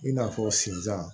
I n'a fɔ sizan